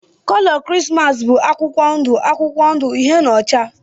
Kolo Krismas bụ akwụkwọ ndụ akwụkwọ ndụ, uhie na ọcha.